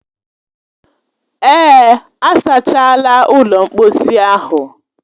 Èè, a sachaala ụlọ mkposi ahụ